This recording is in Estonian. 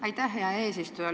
Aitäh, hea eesistuja!